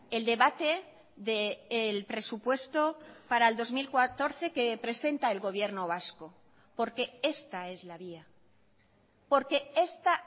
el debate del presupuesto para el dos mil catorce que presenta el gobierno vasco porque esta es la vía porque esta